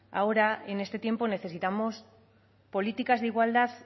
ahora en este tiempo necesitamos políticas de igualdad